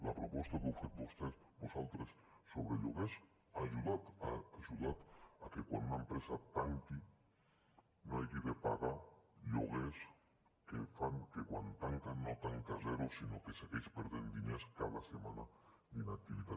la proposta que heu fet vosaltres sobre lloguers ha ajudat a que quan una empresa tanqui no hagi de pagar lloguers que fan que quan tanca no tanca a zero sinó que segueix perdent diners cada setmana d’inactivitat